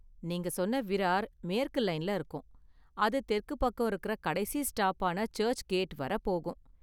நீங்க சொன்ன விரார் மேற்கு லைன்ல இருக்கும், அது தெற்க்கு பக்கம் இருக்குற கடைசி ஸ்டாப்பான சர்ச் கேட் வரை போகும்.